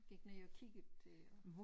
Gik ned og kiggede øh